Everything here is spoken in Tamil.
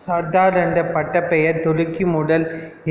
சர்தார் என்ற பட்டப் பெயர் துருக்கி முதல்